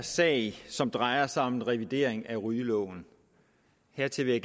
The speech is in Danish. sag som drejer sig om en revidering af rygeloven hertil vil